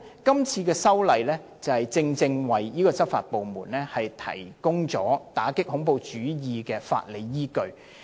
今次修訂法例，正正就是要為執法部門提供打擊恐怖主義的法理依據。